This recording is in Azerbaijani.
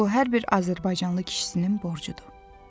Bu hər bir azərbaycanlı kişisinin borcudur.